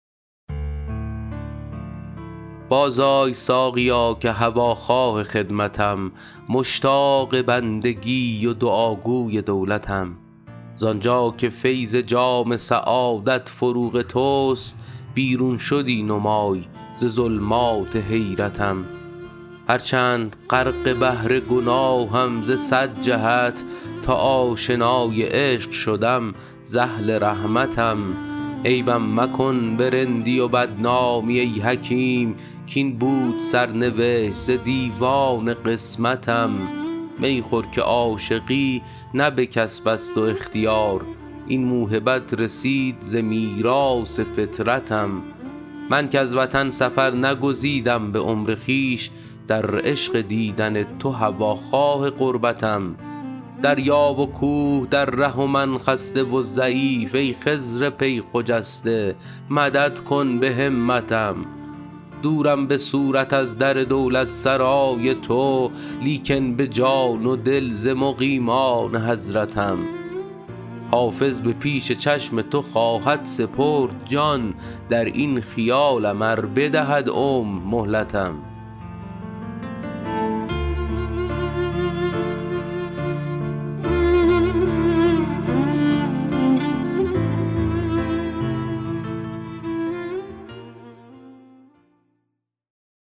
بازآی ساقیا که هواخواه خدمتم مشتاق بندگی و دعاگوی دولتم زان جا که فیض جام سعادت فروغ توست بیرون شدی نمای ز ظلمات حیرتم هرچند غرق بحر گناهم ز صد جهت تا آشنای عشق شدم ز اهل رحمتم عیبم مکن به رندی و بدنامی ای حکیم کاین بود سرنوشت ز دیوان قسمتم می خور که عاشقی نه به کسب است و اختیار این موهبت رسید ز میراث فطرتم من کز وطن سفر نگزیدم به عمر خویش در عشق دیدن تو هواخواه غربتم دریا و کوه در ره و من خسته و ضعیف ای خضر پی خجسته مدد کن به همتم دورم به صورت از در دولتسرای تو لیکن به جان و دل ز مقیمان حضرتم حافظ به پیش چشم تو خواهد سپرد جان در این خیالم ار بدهد عمر مهلتم